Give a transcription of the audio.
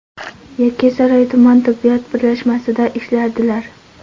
Yakkasaroy tuman tibbiyot birlashmasida ishlardilar.